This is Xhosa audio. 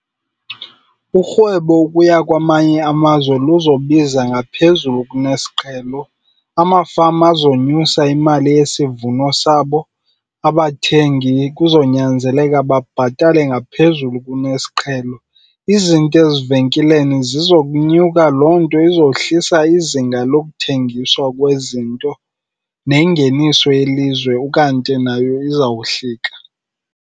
Urhwebo ukuya kwamanye amazwe luzobiza ngaphezulu kunesiqhelo. Amafama azonyusa imali yesivuno sabo, abathengi kuzonyanzeleka babhatale ngaphezulu kuneziqhelo. Izinto ezivenkileni zizokunyuka, loo nto izohlisa izinga lokuthengiswa kwezinto nengeniso yelizwe ukanti nayo izawuhlika.